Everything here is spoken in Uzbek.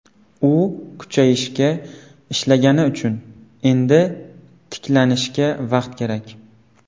U kuchayishga ishlagani uchun, endi tiklanishga vaqt kerak.